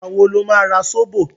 Ìgbà wo lo ma ra Sóbò?